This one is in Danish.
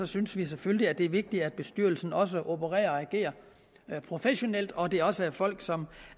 synes vi selvfølgelig at det er vigtigt at bestyrelsen også opererer og agerer professionelt og at det også er folk som